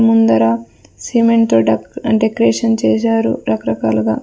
ముందర cement decoration చేశారు రకరకాలుగా.